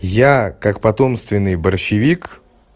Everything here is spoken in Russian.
я как потомственный борщевик